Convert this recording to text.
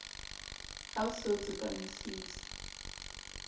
ha ho se ho tsepamisitswe